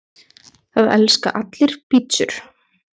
Það elska allir pizzur!